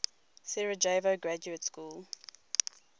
sarajevo graduate school